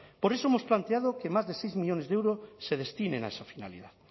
por eso hemos planteado que más de seis millónes de euros se destinen a esa finalidad